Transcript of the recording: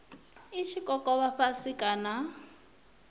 i tshi kokovha fhasi kana